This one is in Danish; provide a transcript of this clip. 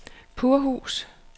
Purhus